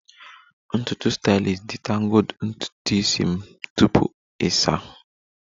Ntutu stylist detangled ntutu isi m tupu ịsa